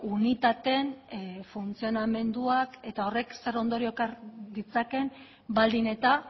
unitateen funtzionamenduak eta horrek zer ondorio ekar ditzakeen baldin eta